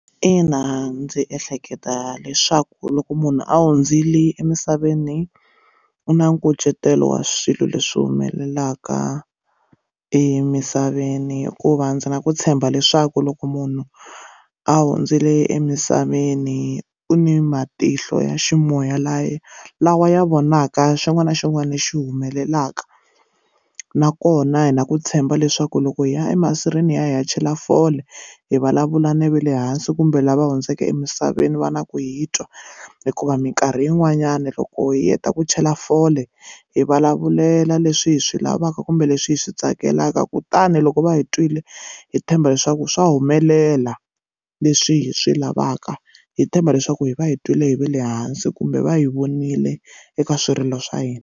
Ina ndzi ehleketa leswaku loko munhu a hundzile emisaveni u na nkucetelo wa swilo leswi humelelaka emisaveni hikuva ndzi na ku tshemba leswaku loko munhu a hundzile emisaveni u ni matihlo ya ximoya laya lawa ya vonaka xin'wana na xin'wana lexi xi humelelaka nakona hi na ku tshemba leswaku loko hi ya emasirheni ya hi ya chela foni hi vulavula na va le hansi kumbe lava hundzeke emisaveni va na ku hi twa hikuva minkarhi yin'wanyani loko hi heta ku chela fole hi vulavulela leswi hi swi lavaka kumbe leswi hi swi tsakelaka lavaka kutani loko va hi twile hi tshemba leswaku swa humelela leswi hi swi lavaka hi tshemba leswaku hi va hi twile hi va le hansi kumbe va hi vonile eka swirilo swa hina.